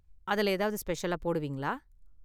அதுல ஏதாவது ஸ்பெஷலா போடுவீங்களா?